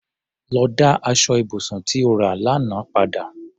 Lọ dá aṣọ ibùsùn tí o rà lánàá padà!